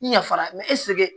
I yafara mɛ ɛseke